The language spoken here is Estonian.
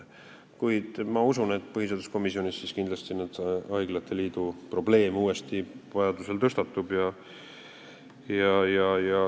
Kuid ma usun, et põhiseaduskomisjonis kindlasti haiglate liidu probleem uuesti vajadusel tõstatub.